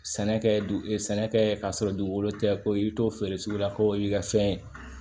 Sɛnɛ kɛ sɛnɛ kɛ ka sɔrɔ dugukolo tɛ ko i bɛ t'o feere sugu la ko y'i ka fɛn